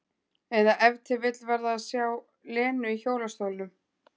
Eða ef til vill var það að sjá Lenu í hjólastólnum.